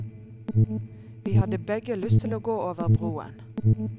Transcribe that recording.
Vi hadde begge lyst til å gå over broen.